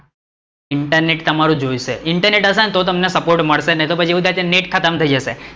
internet તમારું જોઈશે. internet હશે તો તમને સપોર્ટ મળશે. નઈતર પછી એવું થશે કે નેટ ખતમ થઇ જશે.